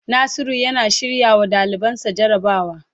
Nasiru yana shirrawa dalibansa jarabawa.